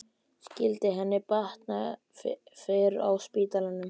Skyldi henni batna fyrr á spítalanum?